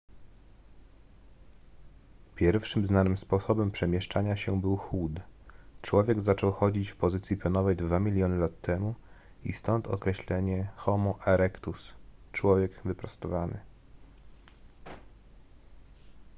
pierwszym znanym sposobem przemieszczania się był chód; człowiek zaczął chodzić w pozycji pionowej dwa miliony lat temu i stąd określenie homo erectus człowiek wyprostowany